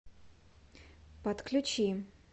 подключи